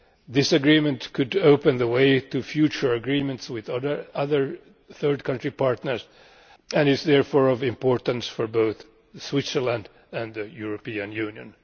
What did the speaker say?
This agreement could open the way to future agreements with other third country partners and is therefore of importance for both Switzerland and the European Union.